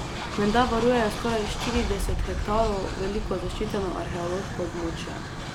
Menda varujejo skoraj štirideset hektarov veliko zaščiteno arheološko območje.